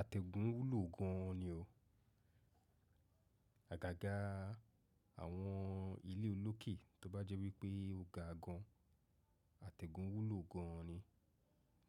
Atẹgùn wúlò gan an ni o. Àgàgà àwọn ilé olókè tó bá jẹ́ wípé ó ga gan, àtẹ̀gùn wúlò gán an ni.